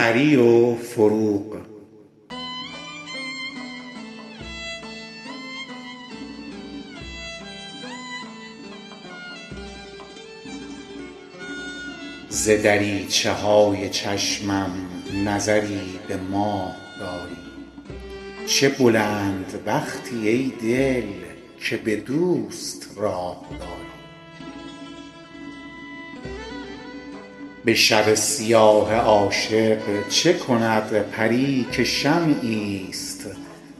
ز دریچه های چشمم نظری به ماه داری چه بلند بختی ای دل که به دوست راه داری به شب سیاه عاشق چه کند پری که شمعی است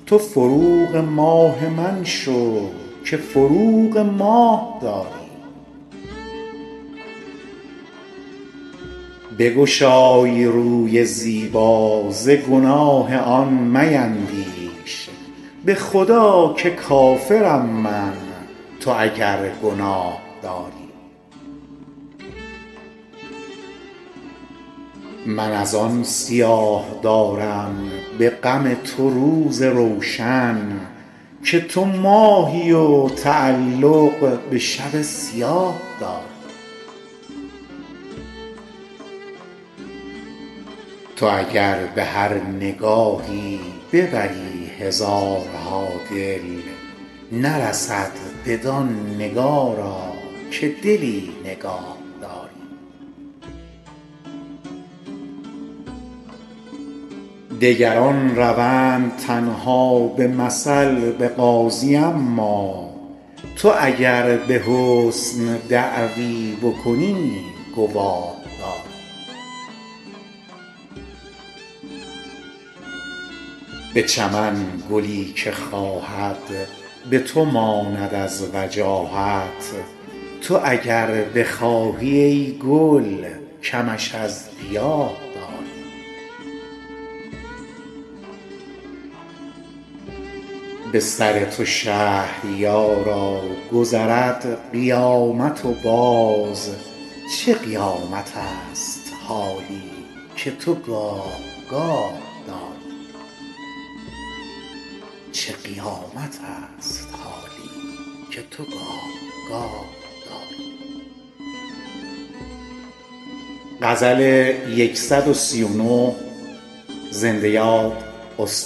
تو فروغ ماه من شو که فروغ ماه داری بگشای روی زیبا ز گناه آن میندیش به خدا که کافرم من تو اگر گناه داری من از آن سیاه دارم به غم تو روز روشن که تو ماهی و تعلق به شب سیاه داری تو اگر به هر نگاهی ببری هزارها دل نرسد بدان نگارا که دلی نگاهداری نفس علیل پیران تب لازم آورد هان تو چه لازم این جوانی به تبی تباه داری تو که چون منیژه گیسو بودت کمند رستم ز چه ماه من چو بیژن خود اسیر چاه داری تو به هر گدا میامیز و شکوه حسن مشکن که لیاقت تشرف به حضور شاه داری برو و به دلبری کو ملکه است در وجاهت بگذر که ماه رویش به محاق آه داری دگران روند تنها به مثل به قاضی اما تو اگر به حسن دعوی بکنی گواه داری به چمن گلی که خواهد به تو ماند از وجاهت تو اگر بخواهی ای گل کمش از گیاه داری دگران به نرد عشقت به هوای بوسه تازند تو چرا هوای بازی سر دل بخواه داری به سر تو شهریارا گذرد قیامت و باز چه قیامتست حالی که تو گاه گاه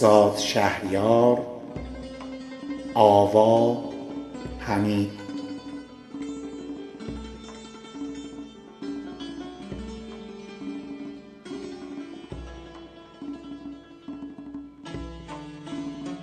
داری